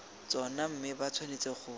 tsona mme ba tshwanetse go